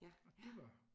Og det var